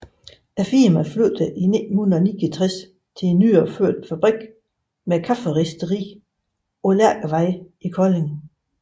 Firmaet flyttede i 1969 til en nyopført fabrik med kafferisteri på Lærkevej i Kolding